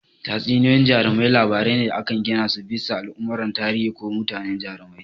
Tatsuniyoyin jarumai labarai ne da aka gina su bisa al'amuran tarihi ko mutane jarumai.